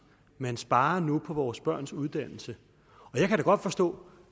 man sparer nu på vores børns uddannelse og jeg kan godt forstå